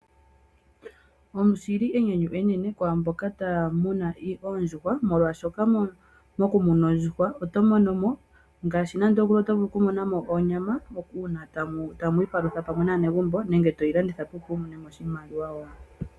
Oshili enyanyu enene kwaamboka taya munu oondjuhwa molwaashoka mokumuna ondjuhwa oto monomo ngaashi onyama uuna tamwii palutha naanegumbo nenge toyi landitha opo wumone mo oshimaliwa.